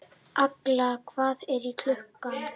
Agla, hvað er klukkan?